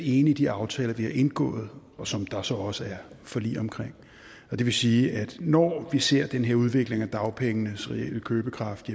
enig i de aftaler vi har indgået og som der så også er forlig om og det vil sige at når vi ser den her udvikling af dagpengenes reelle købekraft